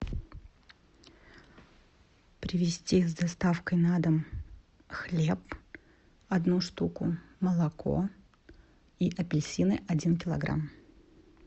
привезти с доставкой на дом хлеб одну штуку молоко и апельсины один килограмм